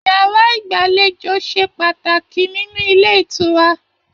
Yàrá igbalejo se pàtàkì nínú ilé ìtura.